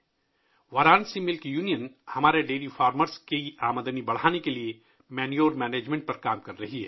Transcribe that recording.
وارانسی دودھ یونین ہمارے ڈیری کسانوں کی آمدنی بڑھانے کے لیے کھاد کے انتظام پر کام کر رہی ہے